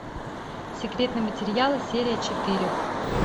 секретные материалы серия четыре